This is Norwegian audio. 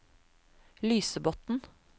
Lysebotn